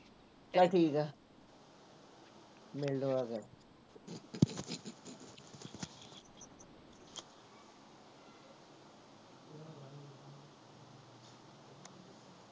ਚੱਲ ਠੀਕ ਆ ਮਿਲਦੇ ਹਾਂ ਫਿਰ।